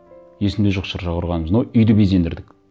есімде жоқ шырша құрғанымыз но үйді безендірдік